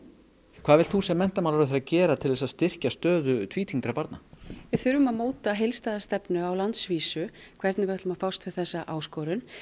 hvað vilt þú sem menntamálaráðherra gera til að styrkja stöðu tvítyngdra barna við þurfum að móta heildstæða stefnu á landsvísu hvernig við ætlum að fást við þessa áskorun